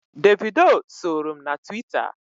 Davido soro m na Twitta.